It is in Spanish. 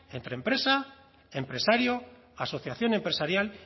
entre empresa empresario asociación empresarial